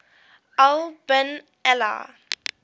al bin ali